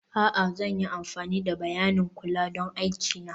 a'a, zan yi amfani da bayanin kula don aiki na